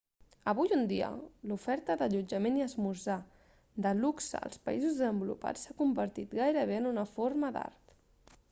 avui en dia l'oferta d'allotjament i esmorzar de luxe als països desenvolupats s'ha convertit gairebé en una forma d'art